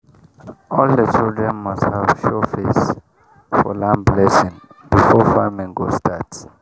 all the children must show face for land blessing before farming go start